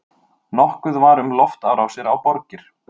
Nokkuð var um loftárásir á borgir.